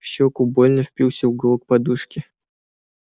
в щёку больно впился уголок подушки